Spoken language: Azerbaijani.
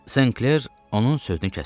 Sankler onun sözünü kəsdi.